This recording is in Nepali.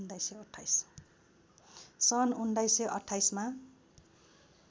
सन् १९२८ मा